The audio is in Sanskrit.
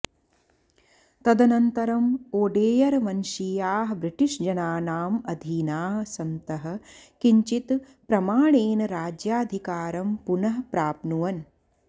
तदनन्तरम् ओडेयरवंशीयाः ब्रिटिशजनानाम् अधीनाः सन्तः किञ्चित् प्रमाणेन राज्याधिकारं पुनः प्राप्नुवन्